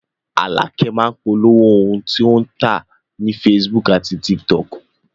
Àlàkẹ́ máá ń polówó ohun tí wọ́n ń tà ní facebook àti tiktok